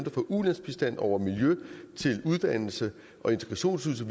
fra ulandsbistand over miljø til uddannelse og integrationsydelse